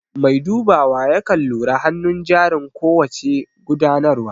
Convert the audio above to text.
Mai dubawa yakan lura hanun jarin ko wace gudanarwa